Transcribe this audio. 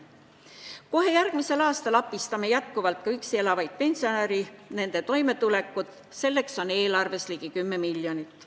Kohe järgmisel aastal abistame jätkuvalt ka üksi elavaid pensionäre, selleks on eelarves ligi 10 miljonit.